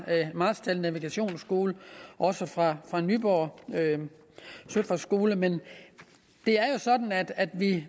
marstal navigationsskole og også fra fra nyborg søfartsskole men det er jo sådan at at vi